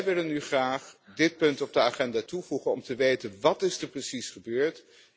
Wij willen nu graag dit punt aan de agenda toevoegen om te weten wat er precies gebeurd is.